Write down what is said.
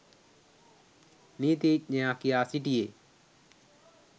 නීතීඥයා කියා සිටියේ